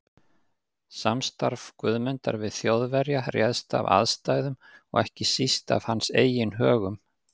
Samstarf Guðmundar við Þjóðverja réðst af aðstæðum og ekki síst af hans eigin högum.